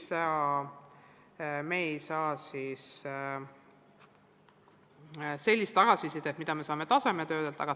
Nii et me ei saa sellist tagasisidet, mida me saame tasemetööde kaudu.